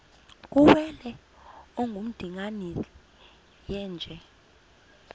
kuwele ongundimangele yeenje